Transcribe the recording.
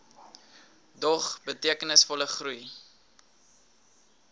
dog betekenisvolle groei